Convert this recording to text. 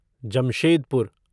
Jamshedpur